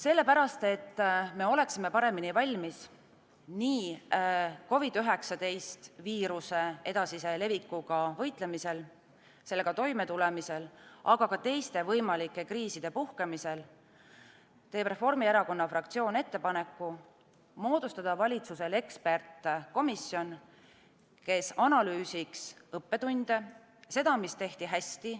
Selleks, et me oleksime paremini valmis nii COVID-19 viiruse edasise levikuga võitlemiseks, sellega toimetulemiseks, aga ka teiste võimalike kriiside puhkemiseks, teeb Reformierakonna fraktsioon valitsusele ettepaneku moodustada eksperdikomisjon, kes analüüsiks õppetunde ja seda, mida tehti hästi.